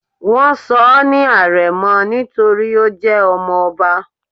wón sò ní arémò nítorí o jé ọmọ obá